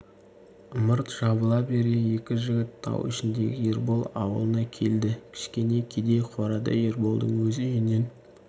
ымырт жабыла бере екі жігіт тау ішіндегі ербол аулына келді кішкене кедей қорада ерболдың өз үйінен